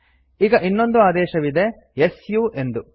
ಈಗ ಇನ್ನೊಂದು ಆದೇಶವಿದೆ ಸು ಎಂದು